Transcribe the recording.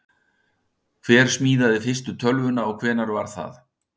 Hver smíðaði fyrstu tölvuna og hvenær var það?